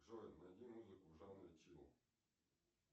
джой найди музыку в жанре чил